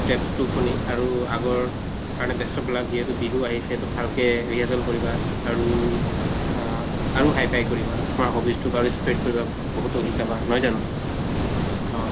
steps তো শুনি আৰু আগৰ কাৰণে best of luck যিহেতু বিহু আহিছে তো ভালকে rehearsal কৰিবা আৰু আহ আৰু his কৰিবা । তোমাৰ hobbies তোক আৰু spread কৰিবা বহুতক শিকাবা নহয় জানো? অ